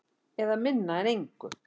Eða minna en engu.